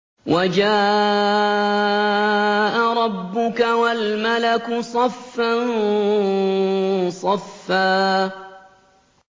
وَجَاءَ رَبُّكَ وَالْمَلَكُ صَفًّا صَفًّا